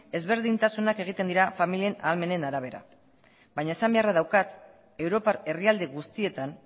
ezberdintasunak egiten dira familien ahalmenen arabera baina esan beharra daukat europar herrialde guztietan